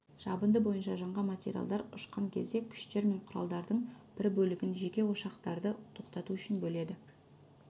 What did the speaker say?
жабынды бойынша жанған материалдар ұшқан кезде күштер мен құралдардың бір бөлігін жеке ошақтарды тоқтату үшін бөледі